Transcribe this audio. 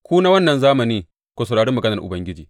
Ku na wannan zamani, ku saurari maganar Ubangiji.